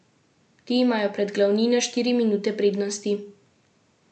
Ti imajo pred glavnino štiri minute prednosti.